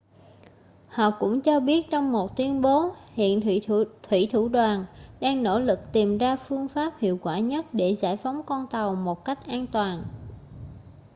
họ cũng cho biết trong một tuyên bố hiện thuỷ thủ đoàn đang nỗ lực tìm ra phương pháp hiệu quả nhất để giải phóng con tàu một cách an toàn